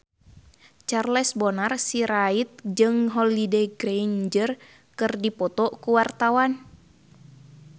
Charles Bonar Sirait jeung Holliday Grainger keur dipoto ku wartawan